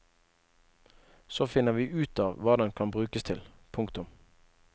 Så finner vi ut av hva den kan brukes til. punktum